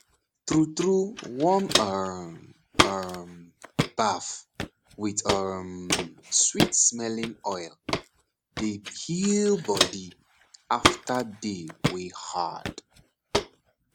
true true warm um um baff with um sweetsmelling oil dey heal body after day wey hard